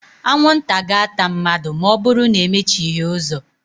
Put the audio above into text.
Anwụ nta ga-ata mmadụ̣ ma ọ bụrụ na e mechighi uzo